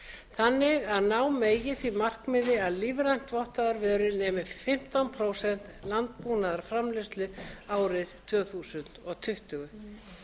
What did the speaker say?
þannig að ná megi því markmiði að lífrænt vottaðar vörur nemi fimmtán prósent landbúnaðarframleiðslu árið tvö þúsund tuttugu